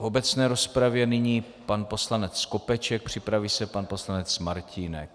V obecné rozpravě nyní pan poslanec Skopeček, připraví se pan poslanec Martínek.